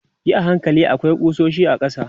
yi a hankali akwai kusoshi a ƙasa